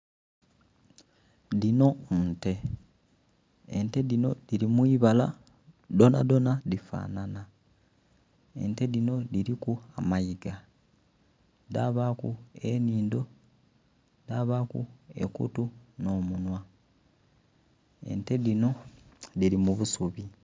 Dhinho nnte ente dhino dhili mwibala dhona dhona dhi fanhanha, ente dhinho dhiliku amaigga, dhabaku enhindho, dhabaku ekutu nho munhwa ente dhinho dhili mu busubi